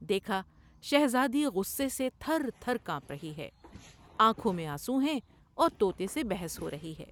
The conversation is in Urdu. دیکھا شہزادی غصے سے تھر تھر کانپ رہی ہے ، آنکھوں میں آنسو ہیں اور توتے سے بحث ہورہی ہے ۔